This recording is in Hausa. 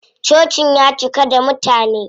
Cocin ya cika da mutane.